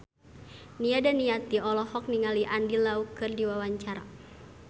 Nia Daniati olohok ningali Andy Lau keur diwawancara